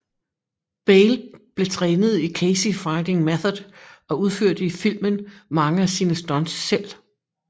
Bale blev trænet i Keysi Fighting Method og udførte i filmen mange af sine stunts selv